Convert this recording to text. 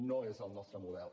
no és el nostre model